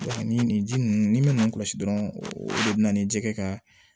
ni nin ji ninnu ni min kɔlɔsi dɔrɔn o de bina ni jɛgɛ ka